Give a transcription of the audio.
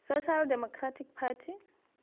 social democratic party